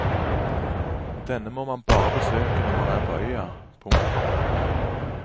Denne må man bare besøke når man er på øya. punktum